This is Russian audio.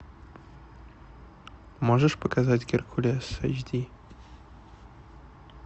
можешь показать геркулес эйч ди